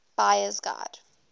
buyer s guide